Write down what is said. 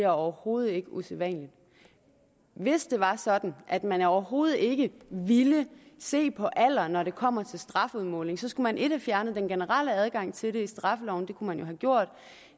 overhovedet ikke er usædvanligt hvis det var sådan at man overhovedet ikke ville se på alder når det kommer til strafudmålingen skulle man have fjernet den generelle adgang til det i straffeloven det kunne man jo have gjort